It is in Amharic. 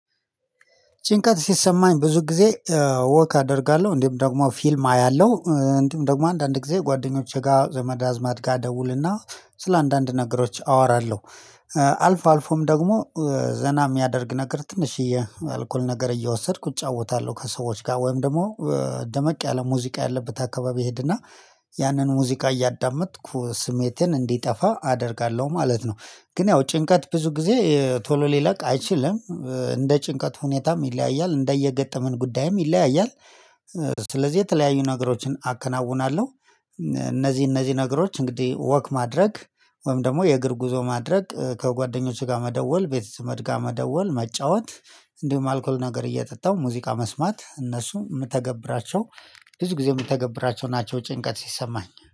ጭንቀት ሲሰማኝ ብዙ ጊዜ ወክ አደርጋለሁ እንዲሁም ደግሞ ፊልም አያለሁ እንዲሁም ደግሞ አንዳንድ ጊዜ ጓደኞቼ ጋር ዘመዳዝማድ ጋር እደውልና ስለ አንዳንድ ነገሮች አወራለሁ። አልፎ አልፎም ደግሞ ዘና የሚያደርግ ነገር ትንሽዬ አልኮል ነገር እየወሰድኩ እጫወታለሁ ከሰዎች ጋር ወይም ደግሞ ደመቅ ያለ ሙዚቃ ያለበት አካባቢ እሄድና ያንን ሙዚቃ እያዳመጥኩ ስሜቴን እንዲጠፋ አደርጋለሁ ማለት ነው። ግን ያው ጭንቀት ብዙ ጊዜ ቶሎ ሊለቅ አይችልም። እንደ ጭንቀት ሁኔታም ይለያያል እንደየገጠመን ጉዳይም ይለያያል። ስለዚህ የተለያዩ ነገሮችን አከናውናለሁ። እነዚህ እነዚህ ነገሮች እንግዲህ ወክ ማድረግ ወይም ደግሞ የእግር ጉዞ ማድረግ ከጓደኞቼ ጋር መደወል ቤተዘመድ ጋር መደወል መጫወት እንዲሁም አልኮል ነገር እየጠጣው ሙዚቃ መስማት እነሱ የምተገብራቸው ብዙ ጊዜ የምተገብራቸው ናቸው። ጭንቀት ሲሰማኝ